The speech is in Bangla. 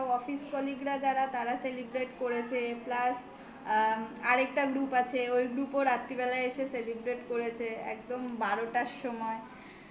যারা তারা celebrate করেছে plus আর একটা group আছে. ওই group ও রাত্রিবেলায় এসে celebrate করেছে. একদম বারোটার সময়